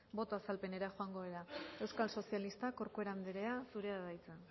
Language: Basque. boto azalpenera joango gara euskal sozialistak corcuera anderea zurea da hitza